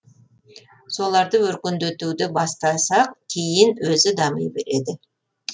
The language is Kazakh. соларды өркендетуді бастасақ кейін өзі дами береді